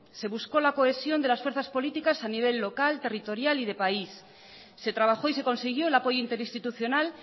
se buscó la cohesión de las fuerzas políticas a nivel local territorial y de país se trabajó y se consiguió el apoyo interinstitucional